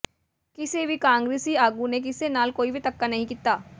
ਕਿਸੇ ਵੀ ਕਾਂਗਰਸੀ ਆਗੂ ਨੇ ਕਿਸੇ ਨਾਲ ਕੋਈ ਵੀ ਧੱਕਾ ਨਹੀਂ ਕੀਤਾ